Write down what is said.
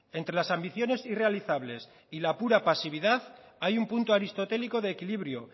entre las ambiciones irrealizables y la pura pasividad hay un punto aristotélico de equilibrio